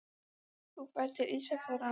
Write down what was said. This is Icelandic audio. Þú ferð til Ísafjarðar á morgun.